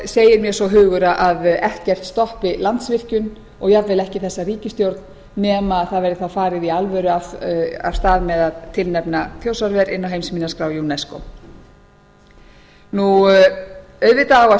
segir mér svo hugur að ekkert stoppi landsvirkjun og jafnvel ekki þessa ríkisstjórn nema það verði þá farið í alvöru af stað með að tilnefna þjórsárver inn á heimsminjaskrá unesco auðvitað á að